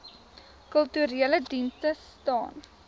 kulturele dienste staan